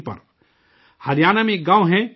ہریانہ میں ایک گاؤں ہے دُلہیڑی